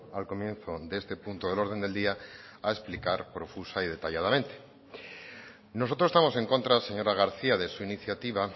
al comienzo de este punto del orden del día a explicar profusa y detalladamente nosotros estamos en contra señora garcía de su iniciativa